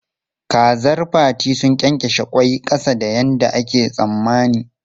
Kazar Fati sun ƙyenƙyashe ƙwai ƙasa da yadda ake tsammani.